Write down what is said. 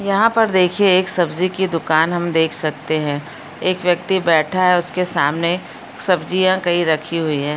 यहाँ पर देखिए एक सब्जी की दुकान हम देख सकते हैं एक व्यक्ति बैठा है उसके सामने सब्जियाँ कई रखी हुई है।